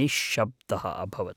निश्शब्दः अभवत्।